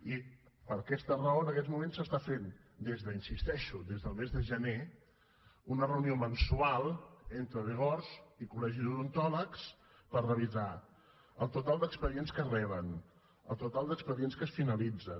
i per aquesta raó en aquests moments es fa des de hi insisteixo el mes de gener una reunió mensual entre dgors i col·legi d’odontòlegs per revisar el total d’expedients que es reben el total d’expedients que es finalitzen